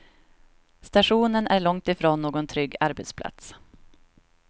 Stationen är långtifrån någon trygg arbetsplats.